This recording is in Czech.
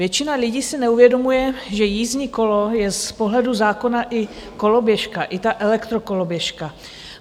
Většina lidí si neuvědomuje, že jízdním kolem je z pohledu zákona i koloběžka, i ta elektrokoloběžka.